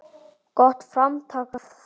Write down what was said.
Gott framtak það.